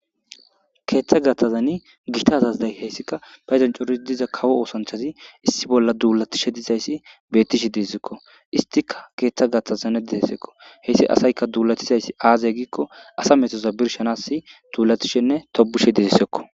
Keeththa gatthazani gita zazday heyssika payzanchoris diza kawo oosanchazi issi bolla duulatishe dizayssi bettishe diessekko istika keeththa gatthazane deessekko heyssi asayka duulatizaysi aazey giikko asa metoza birshanasi duulatishenne tobushe dizissekko